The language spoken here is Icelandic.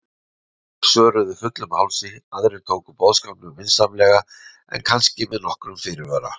Sumir svöruðu fullum hálsi, aðrir tóku boðskapnum vinsamlega en kannski með nokkrum fyrirvara.